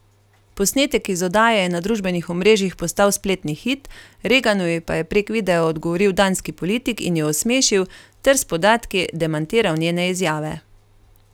Posnetek iz oddaje je na družbenih omrežjih postal spletni hit, Reganovi pa je prek videa odgovoril danski politik in jo osmešil ter s podatki demantiral njene izjave.